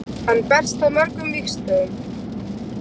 Hann berst á mörgum vígstöðvum.